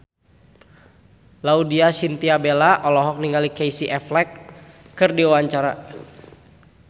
Laudya Chintya Bella olohok ningali Casey Affleck keur diwawancara